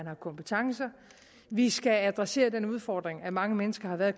har kompetencer vi skal adressere den udfordring at mange mennesker har været